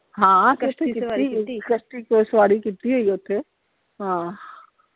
ਹਾਂ ਸਵਾਰੀ ਕੀਤੀ ਹੋਈ ਓਥੇ, ਹਾਂ।